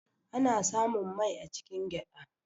Ana samun mai a cikin gyada.